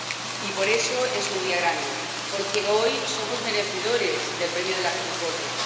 Y por eso es un día grande, porque hoy somos merecedores del premio de la concordia.